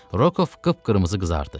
Rokov qıpqırmızı qızardı.